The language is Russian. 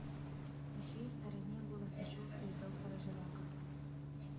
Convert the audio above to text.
на чьей стороне было сочувствие доктора живаго